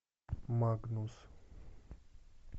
магнус